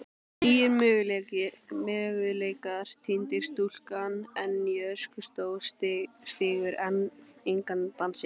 nýir möguleikar týndir stúlkan enn í öskustó stígur engan dansinn